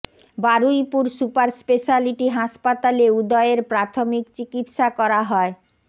Baruipur super speciality হাসপাতালে উদয়ের প্রাথমিক চিকিত্সা করা হয়